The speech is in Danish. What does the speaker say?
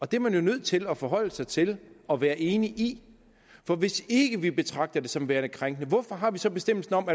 det er man jo nødt til at forholde sig til og være enig i for hvis ikke vi betragter det som værende krænkende hvorfor har vi så bestemmelsen om